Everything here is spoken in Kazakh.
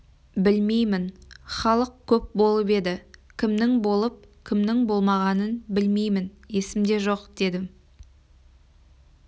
білмеймін халық көп болып еді кімнің болып кімнің болмағанын білмеймін есімде жоқ дедім